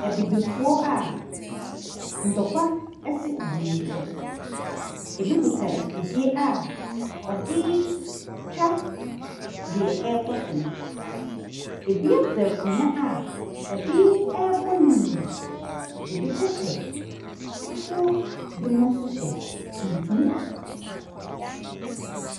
Abibifoɔ a ntɔkwa asi wɔn ntam. Ɛbi kuta afidie a ɔde retwa deɛ ɛrekɔ so no. ɛbi afa akonnwa a ɔde rebɔ ne nua. Ɛbinom hyɛ fufuo. Binom nso hyɛ tuntum.